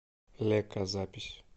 лека запись